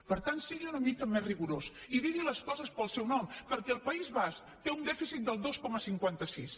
per tant sigui una mica més rigorós i digui les coses pel seu nom perquè el país basc té un dèficit del dos coma cinquanta sis